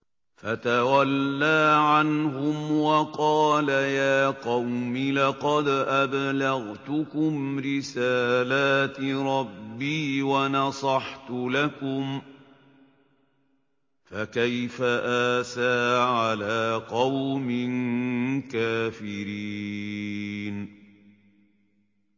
فَتَوَلَّىٰ عَنْهُمْ وَقَالَ يَا قَوْمِ لَقَدْ أَبْلَغْتُكُمْ رِسَالَاتِ رَبِّي وَنَصَحْتُ لَكُمْ ۖ فَكَيْفَ آسَىٰ عَلَىٰ قَوْمٍ كَافِرِينَ